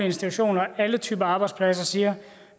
institutioner alle typer arbejdspladser siger